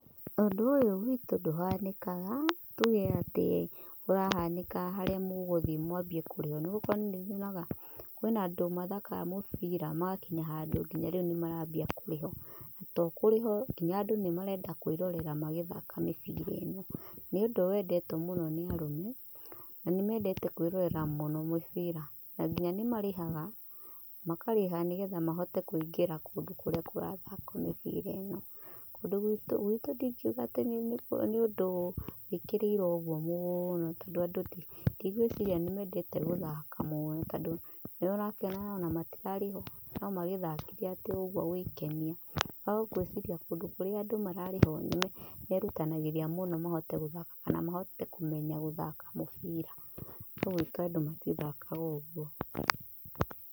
Ũndũ ũyũ gwĩtũ ndũhanĩkaga. Tuge atĩ ũrahanĩka harĩa mũgũthiĩ mwambie kũrĩhwo. Nĩ gũkorwo nĩ nyonaga kwina andũ mathaakaga mubira magakinya handũ nginya rĩu nĩmarambia kũrĩhwo. Na to kũrĩhwo, nginya andũ nĩ marenda kwirorera magĩthaka mĩbira ĩno. NĨ ũndũ wendetwo mũno nĩ arũme, na nĩmendete kwĩrorera mũnomĩbira na nginya nĩmarĩhaga, makarĩha nĩgetha mahote kũingĩra kũndũ kũrĩa kũrathakwo mĩbira ĩno. Kũndũ gwitũ ndĩngĩuga atĩ nĩ ũndũ wĩkĩrĩirwo ũguo mũno. Tondũ andũ ndigwĩciria nĩ mendete gũthaka mũno. Tondũ nĩ ũrakiona ona matĩrarĩhwo, no magĩthakire atĩ o ũguo gwĩkenia. No ngwĩciria kũndũ kũrĩa andũ mararĩhwo nĩmerutanagĩria mũno mahote gũthaka, kana mahote kũmenya guthaka mubira. No gwĩtu andũ matithakaga ũguo.